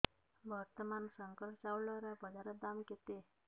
ବର୍ତ୍ତମାନ ଶଙ୍କର ଚାଉଳର ବଜାର ଦାମ୍ କେତେ